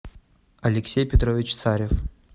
алексей петрович царев